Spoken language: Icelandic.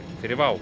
fyrir WOW